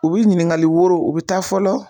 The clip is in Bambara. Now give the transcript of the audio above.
U bɛ ɲininkali woro u bɛ taa fɔlɔ.